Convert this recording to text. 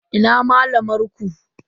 Ina malamar ku?